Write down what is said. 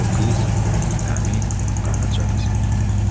Bu qız həmin Qaraca qızı idi.